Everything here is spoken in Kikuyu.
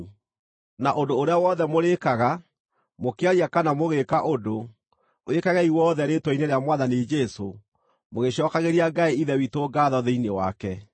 Na ũndũ ũrĩa wothe mũrĩĩkaga, mũkĩaria kana mũgĩĩka ũndũ, wĩkagei wothe rĩĩtwa-inĩ rĩa Mwathani Jesũ, mũgĩcookagĩria Ngai Ithe witũ ngaatho thĩinĩ wake.